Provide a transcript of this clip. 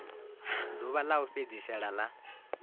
ḓuvha ḽa u fhedzisela ḽa